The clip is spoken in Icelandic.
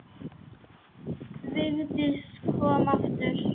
Vigdís kom aftur.